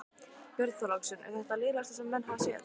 Björn Þorláksson: Er þetta það lélegasta sem menn hafa séð?